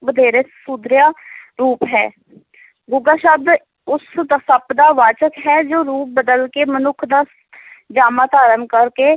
ਵਧੇਰੇ ਸੁਧਰਿਆ ਰੂਪ ਹੈ ਗੁੱਗਾ ਸ਼ਬਦ ਉਸ ਸੱਪ ਦਾ ਵਾਚਕ ਹੈ ਜੋ ਰੂਪ ਬਦਲ ਕੇ, ਮਨੁੱਖ ਦਾ ਜਾਮਾ ਧਾਰਨ ਕਰਕੇ,